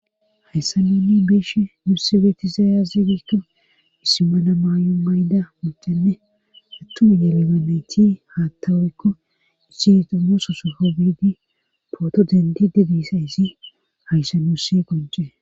hayssa nunni beesh nuussi beetizaaya zidikka misimana maay7o mayda muxenne rattumu yelegameyti haattaworekko issi xumgoso sofo biidi pooto dendi de diisa izi hayssa nuu sse gojee